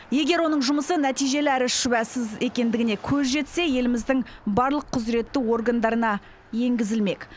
егер оның жұмысы нәтижелі әрі шүбәсіз екендігіне көз жетсе еліміздің барлық құзыретті органдарына енгізілмек